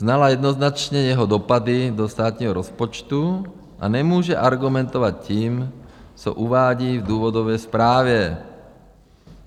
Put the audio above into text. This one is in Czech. Znala jednoznačně jeho dopady do státního rozpočtu a nemůže argumentovat tím, co uvádí v důvodové zprávě.